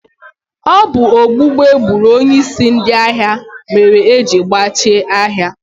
Ọ bụ gbugbu egburu onyeisi ndị ahịa mere ejiri gbachie ahịa.